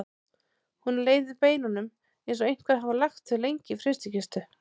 Honum leið í beinunum eins og einhver hefði lagt þau lengi í frystikistu.